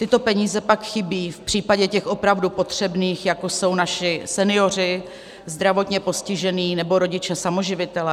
Tyto peníze pak chybí v případě těch opravdu potřebných, jako jsou naši senioři, zdravotně postižení nebo rodiče samoživitelé.